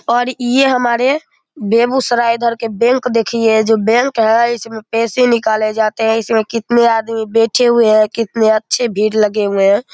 और ये हमारे बेगूसराए इधर के बैंक देखिए ये जो है। इसमें पैसे निकले जाते है। इसमें कितने आदमी बैठे हुए है। कितने अच्छे भीड़ लगे हुए है।